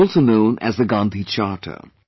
This is also known as the Gandhi Charter